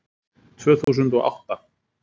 Tvö þúsund og átta